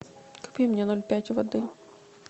купи мне ноль пять воды